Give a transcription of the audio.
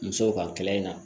Musow ka kɛlɛ in na